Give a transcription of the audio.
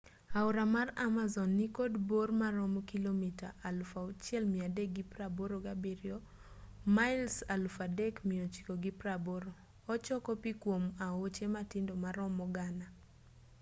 aora mar amazon nikod bor maromo kilomita 6,387 mails 3,980. ochoko pi kuom aoche matindo maromo gana